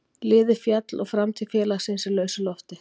Liðið féll og framtíð félagsins í lausu lofti.